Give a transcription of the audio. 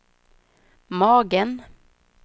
magen